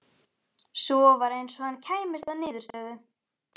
Svo var eins og hann kæmist að niðurstöðu.